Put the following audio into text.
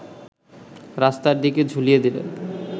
রাস্তার দিকে ঝুলিয়ে দিলেন